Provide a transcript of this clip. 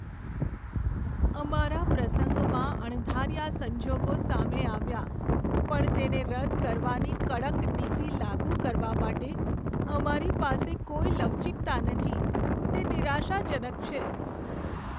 અમારા પ્રસંગમાં અણધાર્યા સંજોગો સામે આવ્યા પણ તેને રદ કરવાની કડક નીતિ લાગુ કરવા માટે અમારી પાસે કોઈ લવચીકતા નથી, તે નિરાશાજનક છે.